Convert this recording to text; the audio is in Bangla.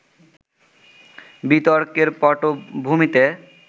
বিতর্কের পটভূমিতে